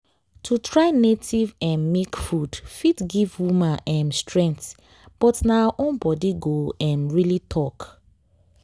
to try native um milk food fit give woman um strength but na her own body go um really talk